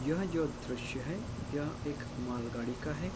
यह जो द्रश्य है यह एक मालगाड़ी का है |